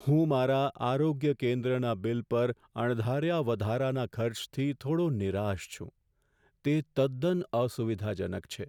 હું મારા આરોગ્ય કેન્દ્રના બિલ પર અણધાર્યા વધારાના ખર્ચથી થોડો નિરાશ છું, તે તદ્દન અસુવિધાજનક છે.